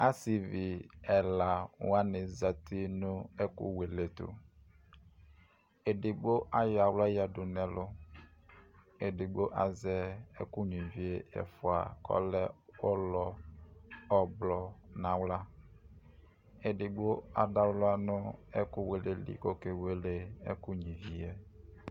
Asivi ɛla wani zati nʋ ɛkʋwele tʋ Ɛdigbo ayɔ aɣla yadʋ nɛ lʋ, ɛdigbo azɛ ɛkʋnyua ivi e ɛfua kʋ ɔlɛ ʋlɔ ʋblʋɔ nʋ aɣla Ɛdigbo adʋ aɣla nʋ ɛkʋwele li kʋ okewele ɛkʋnyua ivi e